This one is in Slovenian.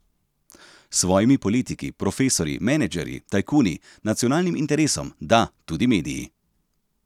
S svojimi politiki, profesorji, menedžerji, tajkuni, nacionalnim interesom, da, tudi mediji.